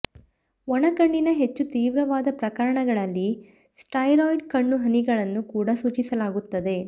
ಒಣ ಕಣ್ಣಿನ ಹೆಚ್ಚು ತೀವ್ರವಾದ ಪ್ರಕರಣಗಳಲ್ಲಿ ಸ್ಟೆರಾಯ್ಡ್ ಕಣ್ಣು ಹನಿಗಳನ್ನು ಕೂಡ ಸೂಚಿಸಲಾಗುತ್ತದೆ